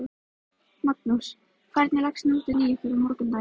Magnús: Hvernig leggst nóttin í ykkur og morgundagurinn?